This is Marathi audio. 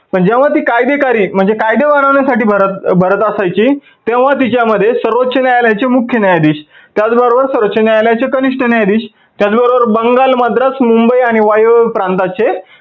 पण जेव्हा ती कायदेकारी म्हणजे कायदे वाढवण्यासाठी भरत असायची तेव्हा तिच्या मध्ये सर्वोच्च न्यायालयाचे मुख्य न्यायाधीश त्याच बरोबर सर्वोच्च न्यायालयाचे कनिष्ठ न्यायाधीश त्याच बरोबर बंगाल, मद्रास, मुंबई आणि वायव्य प्रांताचे